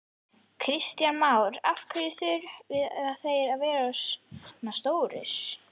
Kristján Már: Af hverju þurfa þeir að vera svona stórir?